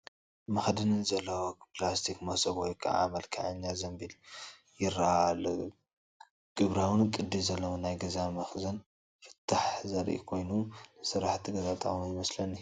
መኽደኒ ዘለዎ ፕላስቲክ መሶብ ወይ ከዓ መልከዐኛ ዘንቢል ይረአ ኣሎ። ግብራውን ቅዲ ዘለዎን ናይ ገዛ መኽዘን ፍታሕ ዘርኢ ኮይኑ፡ ንስራሕቲ ገዛ ጠቓሚ ይመስለኒ፡፡